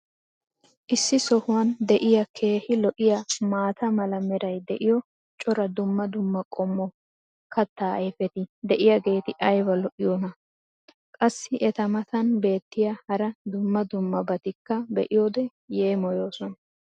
Issi sohuwan diya keehi lo'iyaa maata mala meray diyo cora dumma dumma qommo kataa ayfeti diyaageeti ayba lo'iyoonaa? Qassi eta matan beetiya hara dumma dummabatikka be'iyoode yeemmoyoosona.